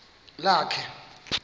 lakhe